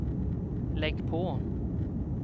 lägg på